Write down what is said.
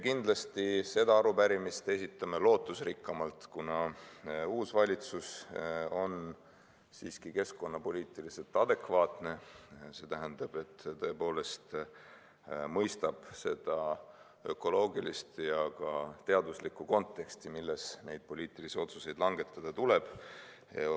Kindlasti esitame selle arupärimise lootusrikkamalt, kuna uus valitsus on siiski keskkonnapoliitiliselt adekvaatne, see tähendab, et tõepoolest mõistab seda ökoloogilist ja ka teaduslikku konteksti, milles neid poliitilisi otsuseid langetada tuleb.